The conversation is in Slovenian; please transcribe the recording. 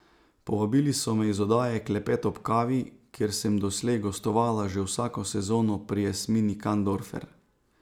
Povabili so me iz oddaje Klepet ob kavi, kjer sem doslej gostovala že vsako sezono pri Jasmini Kandorfer.